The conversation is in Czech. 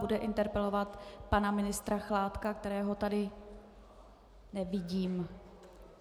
Bude interpelovat pana ministra Chládka, kterého tady nevidím.